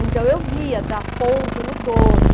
Então, eu via dar ponto no doce.